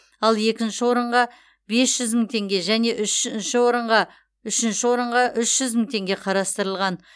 ал екінші орынға бес жүз мың теңге және үшінші орынға үшінші орынға үш жүз мың теңге қарастырылған